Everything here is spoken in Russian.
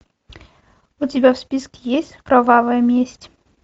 у тебя в списке есть кровавая месть